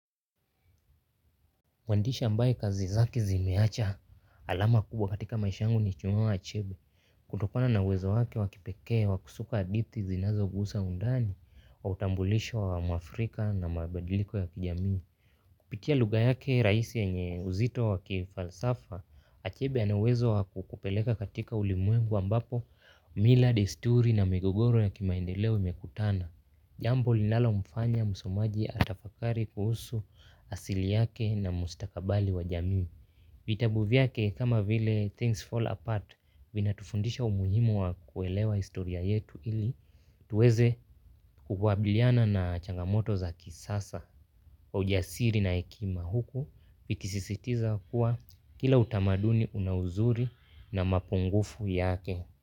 Mwandishi ambaye kazi zake ziliacha alama kubwa katika maisha yangu ni chinua achebe. Kutokana na uwezo wake wakipekee wa kusuka hadithi zinazo gusa undani wa utambulisho wa mwafrika na mabandiliko ya kijamii. Kupitia lugha yake rahisi yenye uzito waki falsafa, achebe anauwezo wakukupeleka katika ulimwengu ambapo mila desturi na migogoro ya kimaendeleo yamekutana. Jambo linalomfanya musomaji atafakari kuhusu asili yake na mustakabali wa jamii. Vitabu vyake kama vile things fall apart vinatufundisha umuhimu wa kuelewa historia yetu ili tuweze kukwabiliana na changamoto za kisasa. Kwa ujasiri na hekima huku, viki sisitiza kuwa kila utamaduni unauzuri na mapungufu yake.